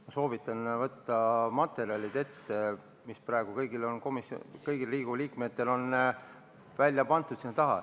Ma soovitan võtta ette materjalid, mis on praegu kõigile Riigikogu liikmetele seal taga välja pandud.